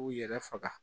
K'u yɛrɛ faga